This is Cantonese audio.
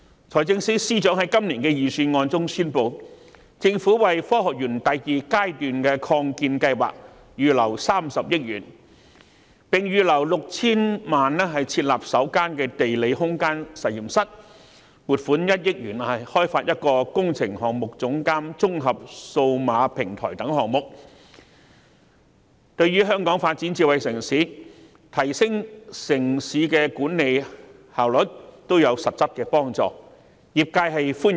財政司司長在今年的預算案中宣布，政府會為科學園第二階段擴建計劃預留30億元，並預留 6,000 萬元設立首間地理空間實驗室，以及撥款1億元開發一個工程監督綜合數碼平台等，這些項目對香港發展智慧城市、提升城市管理效率亦有實質幫助，業界對此表示歡迎。